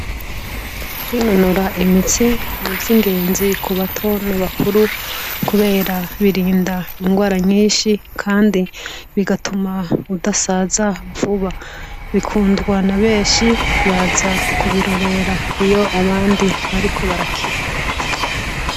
Winonora imitsi n'ivyo ingenzi ku bato nabakuru, kubera birinda ingwara nyinshi, kandi bigatuma udasaza vuba bikundwa na benshi baza kubirorera iyo abandi bariko barakiwe.